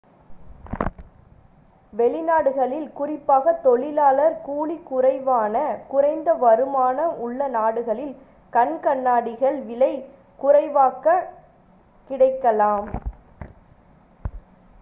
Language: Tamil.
வெளிநாடுகளில் குறிப்பாக தொழிலாளர் கூலி குறைவான குறைந்த வருமானம் உள்ள நாடுகளில் கண் கண்ணாடிகள் விலை குறைவாகக் கிடைக்கலாம்